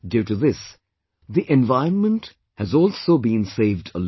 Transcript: Due to this, the environment has also been saved a lot